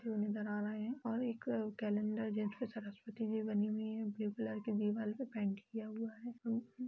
Trimming करा रहे है और एक कैलेंडर जिसमे सरस्वती जी बनी हुई है ब्लू कलर के दिवार पे पेंट किया हुआ है।